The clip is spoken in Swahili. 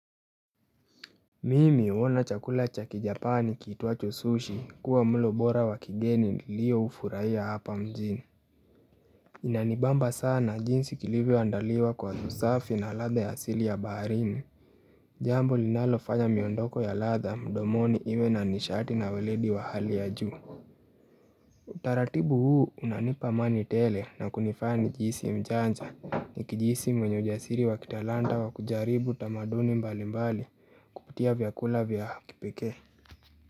Mimi uona chakula cha kijapani kiitwacho sushi kuwa mlo bora wa kigeni nilioufuraiya hapa mjini. Inanibamba sana jinsi kilivyo andaliwa kwa usafi na ladha ya asili ya baharini. Jambo linalo fanya miondoko ya ladha mdomoni iwe na nishati na weledi wa hali ya juu. Utaratibu huu unanipa amani tele na kunifanyani jihisi mjanja ni kijisi mwenye ujasiri wa kitalanta wa kujaribu tamaduni mbali mbali kutia vyakula vyakipekee.